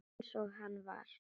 Eins og hann var.